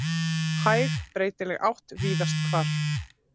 Hæg breytileg átt víðast hvar